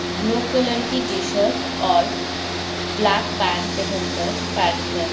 blue colour की t-shirt और black pant पहनकर बैठकर --